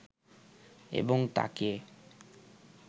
এবং তাকে